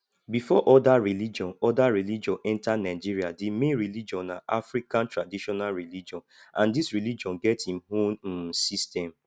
before oda religion oda religion enter nigeria di main religion na african traditional religion and this religion get im own um system